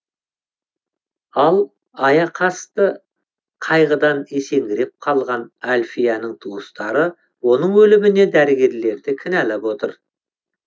ал аяқасты қайғыдан есеңгіреп қалған әльфияның туыстары оның өліміне дәрігерлерді кінәлап отыр